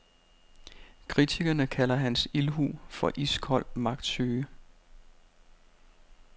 Kritikerne kalder hans ildhu for iskold magtsyge.